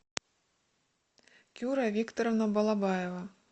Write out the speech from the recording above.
кюра викторовна балабаева